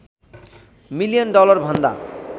million डलरभन्दा